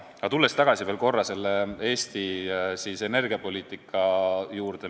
Aga tulen veel korra tagasi Eesti energiapoliitika juurde.